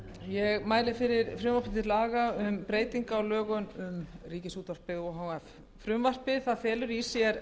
ég mæli fyrir frumvarpi til laga um breyting á lögum um ríkisútvarpið o h f frumvarpið felur í sér